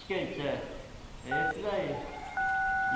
Skate, é. É esse daí.